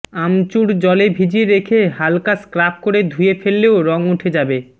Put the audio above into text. আমচূড় জলে ভিজিয়ে রেখে হালকা স্ক্রাব করে ধুয়ে ফেললেও রং উঠে যাবে